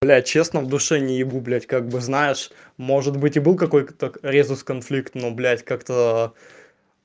блядь честно в душе не ебу блядь как бы знаешь может быть и был какой-то резус-конфликт но блядь как-то